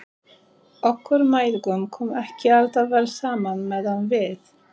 Okkur mæðgum kom ekki alltaf vel saman meðan við